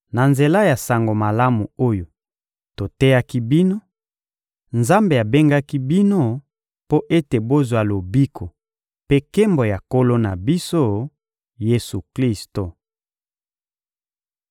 Na nzela ya Sango Malamu oyo toteyaki bino, Nzambe abengaki bino mpo ete bozwa lobiko mpe nkembo ya Nkolo na biso, Yesu-Klisto.